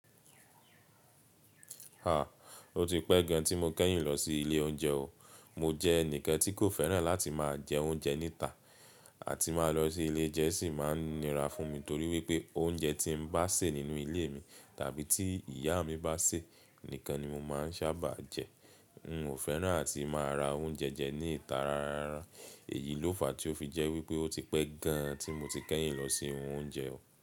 Ó ti pẹ́ gan tí mo kẹ́yìn lọ sí ilé oúnjẹ o. Mo jẹ́ ẹnìkan tí kò fẹ́ràn láti máa jẹ oúnjẹ níta àti máa lọ sí ilé ounjẹ́ sì máa ń nira fún mi torí wípé oúnjẹ tí mbá sè nínú ilé mi tàbí tí ìyá mi bá sè nìkan ni mo máa ń sábà jẹ. N o fẹ́ràn àti máa ra oúnjẹ jẹ ní ìta ráárárá. Èyí ló fa tí ó fi jẹ́ wípé ó ti pẹ́ gan tí mo ti kẹ́yìn lọ sí ohun oúnjẹ o.